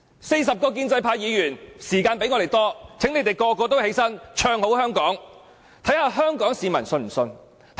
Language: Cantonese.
四十位建制派議員的發言時間比我們多，請他們全部站起來唱好香港，看看香港市民會否相信他們。